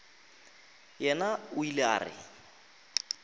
yena o ile a re